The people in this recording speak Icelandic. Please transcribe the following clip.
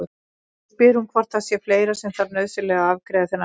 Nú spyr hún hvort það sé fleira sem þarf nauðsynlega að afgreiða þennan morguninn.